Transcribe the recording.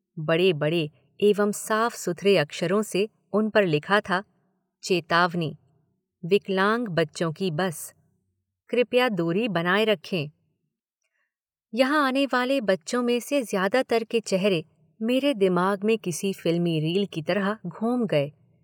बड़े बडे़ एवं साफ सुथरे अक्षरों से उन पर लिखा था, चेतावनी, विकलांग बच्चों की बस, कृपया दूरी बनाए रखें। यहाँ आने वाले बच्चों मे से ज़्यादातर के चेहरे, मेरे दिमाग में किसी फ़िल्मी रील की तरह घूम गए।